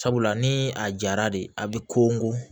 Sabula ni a jara de a bɛ ko n ko